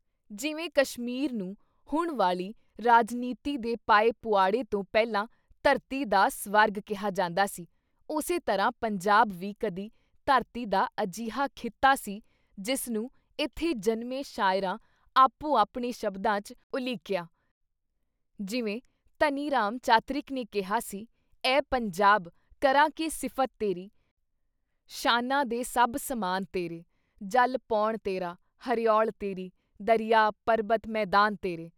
ਜਿਵੇਂ ਕਸ਼ਮੀਰ ਨੂੰ ਹੁਣ ਵਾਲੀ ਰਾਜਨੀਤੀ ਦੇ ਪਾਏ ਪੁਆੜੇ ਤੋਂ ਪਹਿਲਾਂ "ਧਰਤੀ ਦਾ ਸਵਰਗ" ਕਿਹਾ ਜਾਂਦਾ ਸੀ ਉਸੇ ਤਰ੍ਹਾਂ ਪੰਜਾਬ ਵੀ ਕਦੀ ਧਰਤੀ ਦਾ ਅਜਿਹਾ ਖਿੱਤਾ ਸੀ ਜਿਸ ਨੂੰ ਏਥੇ ਜਨਮੇ ਸ਼ਾਇਰਾਂ ਆਪੋ- ਆਪਣੇ ਸ਼ਬਦਾਂ ‘ਚ ਉਲੀਕਿਆ ਜਿਵੇਂ ਧਨੀ ਰਾਮ “ਚਾਤ੍ਰਿਕ” ਨੇ ਕਿਹਾ ਸੀ- ਐ ਪੰਜਾਬ ਕਰਾਂ ਕੀ ਸਿਫ਼ਤ ਤੇਰੀ, ਸ਼ਾਨਾ ਦੇ ਸਭ ਸਮਾਨ ਤੇਰੇ, ਜਲ ਪੌਣ ਤੇਰਾ, ਹਰਿਔਲ ਤੇਰੀ, ਦਰਿਆ, ਪਰਬਤ, ਮੈਦਾਨ ਤੇਰੇ।”